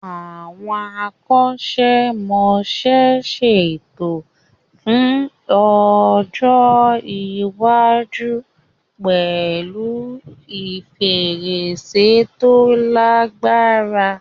Àwọn akọ́ṣẹ́mọṣẹ́ ṣètò fún ọjọ́ iwájú pẹ̀lú fèrèsé tó lagbára.